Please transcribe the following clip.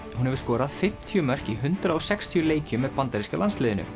hún hefur skorað fimmtíu mörk í hundrað og sextíu leikjum með bandaríska landsliðinu